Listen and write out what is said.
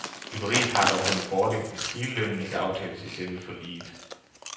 Byggeriet har dog den fordel, at hele lønnen ikke aftales i selve forliget.